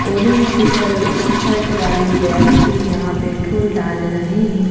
Orange शीटर shirt वाले व्यक्ति यहां पेट्रोल डाल रहे हैं।